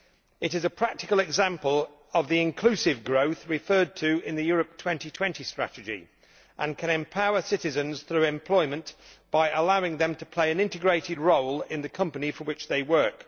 It is a practical example of the inclusive growth referred to in the Europe 2020 strategy, and it can empower citizens through employment by allowing them to play an integral role in the company for which they work.